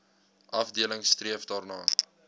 afdeling streef daarna